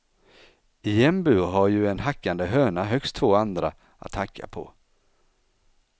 I en bur har ju en hackande höna högst två andra att hacka på.